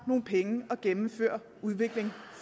nogle penge at gennemføre udvikling